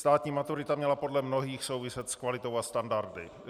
Státní maturita měla podle mnohých souviset s kvalitou a standardy.